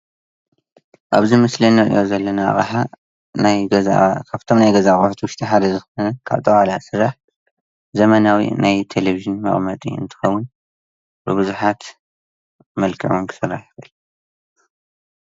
ኣብዚ ምስሊ ንርኦ ዘሎ ኣቅሓ ናይ ገዛ ካብቶም ናይ ገዛ ኣቅሓ ውሽጢ ሓደ ዝኮነ ካብ ጠቀላላ ዝስራሕ ዘመናዊ ናይ ቴሌቪጅን መቀመጢ እንትከውን ብቡዝሓት መልክዕ ክስራሕ 'ውን ይክእል።